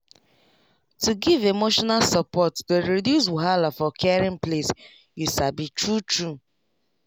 to give emotional support dey reduce wahala for caring place you sabi true true